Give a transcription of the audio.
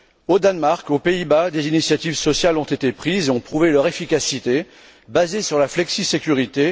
Au Danemark et aux Pays Bas, des initiatives sociales ont été prises et ont prouvé leur efficacité, basée sur la flexisécurité.